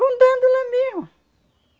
Rondando lá mesmo.